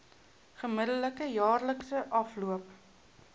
gemiddelde jaarlikse afloop